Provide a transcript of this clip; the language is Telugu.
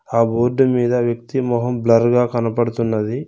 ఆ బోర్డు మీద వ్యక్తి మొహం బ్లర్ గా కనపడుతున్నది.